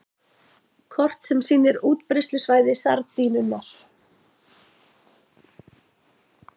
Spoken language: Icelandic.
Kort sem sýnir útbreiðslusvæði sardínunnar.